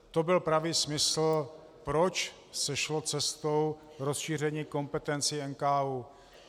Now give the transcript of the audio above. To byl pravý smysl, proč se šlo cestou rozšíření kompetencí NKÚ.